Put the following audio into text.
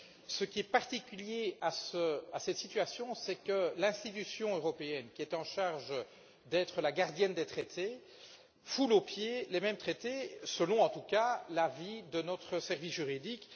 Ce qui est particulier à cette situation, c'est que l'institution européenne, qui est la gardienne des traités, foule aux pieds ces mêmes traités selon en tout cas l'avis de notre service juridique.